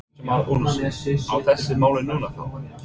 Kristján Már Unnarsson: Á þessu máli núna þá?